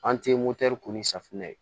An te motɛri ko ni safinɛ ye